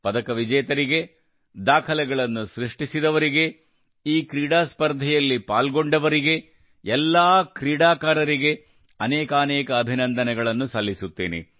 ಪದಕ ವಿಜೇತರಿಗೆ ದಾಖಲೆಗಳನ್ನು ಸೃಷ್ಟಿಸಿದವರಿಗೆ ಈ ಕ್ರೀಡಾ ಸ್ಪರ್ಧೆಯಲ್ಲಿ ಪಾಲ್ಗೊಂಡವರನ್ನು ಎಲ್ಲಾ ಕ್ರೀಡಾಕಾರರಿಗೆ ಅನೇಕಾನೇಕ ಅಭಿನಂದನೆಗಳನ್ನು ಸಲ್ಲಿಸುತ್ತೇನೆ